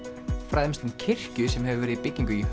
fræðumst um kirkju sem hefur verið í byggingu í